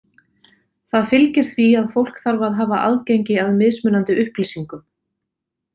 Það fylgir því að fólk þarf að hafa aðgengi að mismunandi upplýsingum.